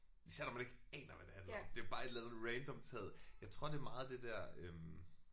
Især når man ikke aner hvad det handler om. Det er bare et eller andet random taget jeg tror det er meget det der øh